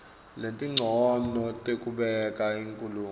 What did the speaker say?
letincono tekubeka inkhulumo